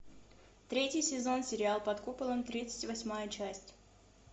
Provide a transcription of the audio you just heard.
третий сезон сериал под куполом тридцать восьмая часть